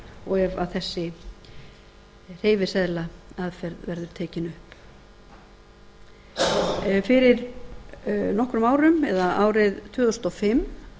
og ef þessi hreyfiseðlaaðferð verður tekin upp fyrir nokkrum árum eða árið tvö þúsund og fimm